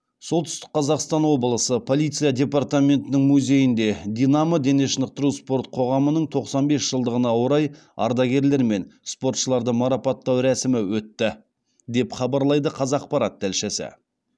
солтүстік қазақстан облысы полиция департаментінің музейінде динамо дене шынықтыру спорт қоғамының тоқсан бес жылдығына орай ардагерлер мен спортшыларды марапаттау рәсімі өтті деп хабарлайды қазақпарат тілшісі